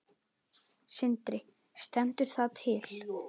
Sindri: Stendur það til?